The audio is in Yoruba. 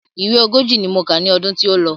Ìwé ogójì ni mo kà ní ọdún tí ó lọ.